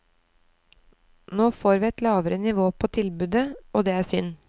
Nå får vi et lavere nivå på tilbudet, og det er synd.